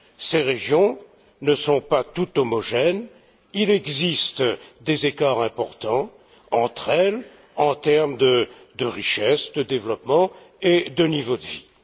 Ces régions ne sont pas toutes homogènes, il existe des écarts importants entre elles, en termes de richesse, de développement et de niveau de vie.